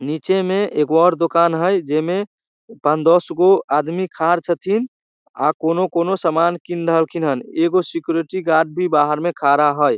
नीचे में एक और दुकान है जेई में पान-दस गो आदमी खाड़ छथिन अ कुनु-कुनू सामान किन रहलखिन हैन एगो सिक्युरिटी गार्ड भी बाहर में खड़ा हई।